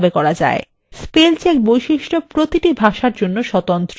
spell check বৈশিষ্ট্য প্রতিটি ভাষার জন্য স্বতন্ত্র